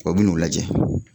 O bɛ n'o lajɛ